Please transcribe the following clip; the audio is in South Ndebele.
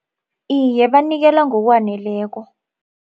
Iye, banikela ngokwaneleko.